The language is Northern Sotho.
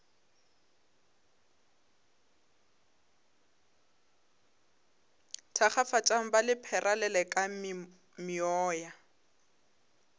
thakgafatšang ba lephera lelekang meoya